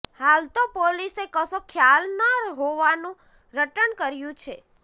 હાલ તો પોલીસે કશો ખ્યાલ ન હોવાનું રટણ કર્યુ છે